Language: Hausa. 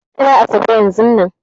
Ka kira Asabe yanzun nan!